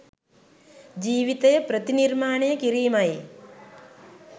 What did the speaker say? ජීවිතය ප්‍රතිනිර්මාණය කිරීමයි